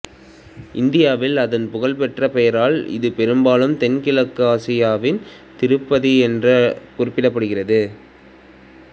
இந்தியாவில் அதன் புகழ்பெற்ற பெயரால் இது பெரும்பாலும் தென்கிழக்கு ஆசியாவின் திருப்பதி என்று குறிப்பிடப்படுகிறது